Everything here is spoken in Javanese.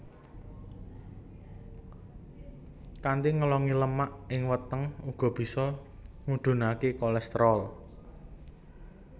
Kanthi ngelongi lemak ing weteng uga bisa ngudhunaké kolesterol